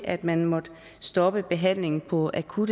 at man måtte stoppe behandlingen på akutte